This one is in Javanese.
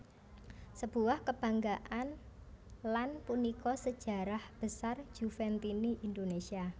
Sebuah kebanggaan lan punika sejarah besar Juventini Indonesia